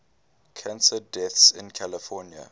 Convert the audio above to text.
cancer deaths in california